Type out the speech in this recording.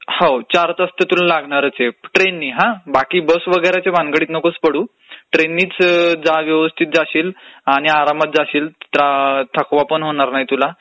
हो चार तास तर तुला लागणारचं आहेत ट्रेननी हो..बाकी बस वगैरेच्या भनगडीत तर तू नकोच पडूस, ट्रेननीच जा व्यवस्थित जाशिल आणि आरामात जाशिल थकवा पण होणार नाही तुला